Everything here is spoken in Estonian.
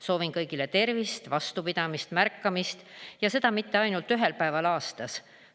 Soovin kõigile tervist, vastupidamist, märkamist, ja seda mitte ainult ühel päeval aastas.